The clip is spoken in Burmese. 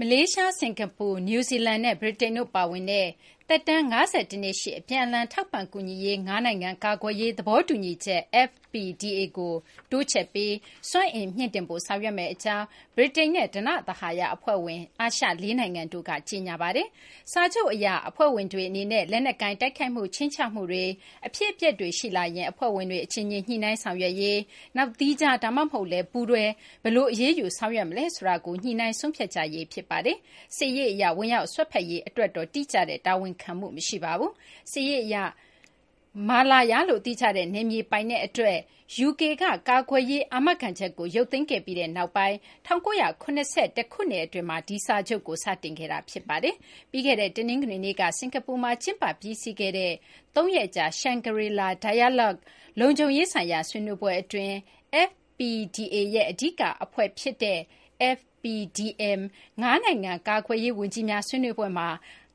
မလေးရှား၊ စကာၤပူ၊ နယူးဇီလန်နဲ့ ဗြိတိန်တို့ ပါဝင်တဲ့ သက်တမ်း ၅၁ နှစ်ရှိ အပြန်အလှန် ထောက်ပံ့ကူညီရေး ၅ နိုင်ငံ ကာကွယ်ရေး သဘောတူညီချက် FPDA ကို တိုးချဲ့ပြီး စွမ်းအင် မြှင့်တင်ဖို့ ဆောင်ရွက်မယ့် အကြောင်း ဗြိတိန်နဲ့ ဓနသဟာရ အဖွဲ့ဝင် အာရှ ၄ နိုင်ငံတို့ဟာ ကြေညာပါတယ်။ စာချုပ်အရ FPDA အဖွဲ့ဝင်တွေ အနေနဲ့ လက်နက်ကိုင် တိုက်ခိုက်မှု ခြိမ်းခြောက်မှုတွေ၊ အဖြစ်အပျက်တွေ ရှိလာရင် အဖွဲ့ဝင်တွေ အချင်းချင်း ညှိနှိုင်းဆောင်ရွက်ရေး၊ နောက် သီးခြား ဒါမှမဟုတ်လည်း ပူးတွဲ ဘယ်လို အရေးယူ ဆောင်ရွက်မလဲ ဆိုတာကို ညှိနှိုင်းဆုံးဖြတ်ကြရေး ဖြစ်ပါတယ်။ စစ်ရေး အရ ဝင်ရောက်စွက်ဖက်ရေး အတွက်တော့ တိကျတဲ့ တာဝန်ခံမှု မရှိပါဘူး။ စစ်ရေး အရ ကြားဝင် ဆောင်ရွက်ရေး တိကျတဲ့ တာဝန်တော့ မပါရှိပါဘူး။ Malaya လို့ သိကြတဲ့ နယ်မြေ ပိုင်နက် အတွက် UK က ကာကွယ်ရေး အာမခံချက်ကို ရုပ်သိမ်းခဲ့ပြီးနောက်ပိုင်း ၁၉၇၁ ခုနှစ် အတွင်းမှာ ဒီစာချုပ်ကို စတင်ခဲ့တာ ဖြစ်ပါတယ်။ ပြီးခဲ့တဲ့ တနင်္ဂနွေနေ့က စကာၤပူမှာ ကျင်းပ ပြီးစီးခဲ့တဲ့ ၃ ရက်ကြာ Shangri-La Dialogue လုံခြုံရေးဆိုင်ရာ ဆွေးနွေးပွဲ အတွင်း FPDA ရဲ့ အဓိက အဖွဲ့ဖြစ်တဲ့ FPDM ၅ နိုင်ငံ ကာကွယ်ကွယ်ရေး ဝန်ကြီးများ ဆွေးနွေးပွဲမှာ